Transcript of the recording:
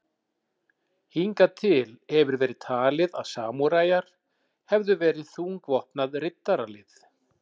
Hingað til hefur verið talið að samúræjar hefðu verið þungvopnað riddaralið.